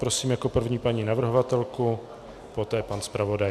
Prosím jako první paní navrhovatelku, poté pan zpravodaj.